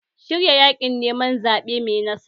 Shirya yaƙin neman zaɓe mai nasara!